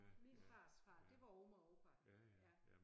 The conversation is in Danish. Min fars far det var Oma og Opa ja